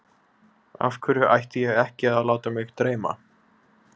Af hverju ætti ég ekki að láta mig dreyma?